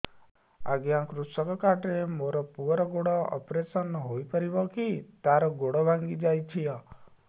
ଅଜ୍ଞା କୃଷକ କାର୍ଡ ରେ ମୋର ପୁଅର ଗୋଡ ଅପେରସନ ହୋଇପାରିବ କି ତାର ଗୋଡ ଭାଙ୍ଗି ଯାଇଛ